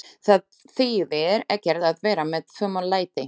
Það þýðir ekkert að vera með fum og læti.